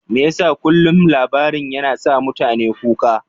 Me yasa kullum labarin yana sa mutane kuka?